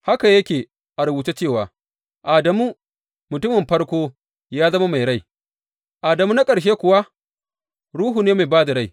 Haka yake a rubuce cewa, Adamu, mutumin farko ya zama mai rai; Adamu na ƙarshe kuwa ruhu ne mai ba da rai.